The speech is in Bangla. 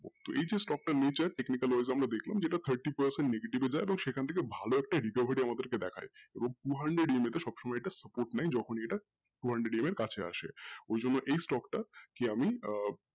তো এই যে stock নেচার nature এ আমরা দেখলাম যেটা thirty percent negative যে সেখান থেকে আমরা ভালো একটা reservitive আমাদেরকে দেখায় এবং two hundredEM তে সবসময় এটা support নেই যখনি এটা two hundredEM এর কাছে আসে ওই জন্য এই stock টা কে আমি আহ